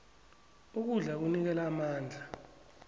ukudla kunikela amandla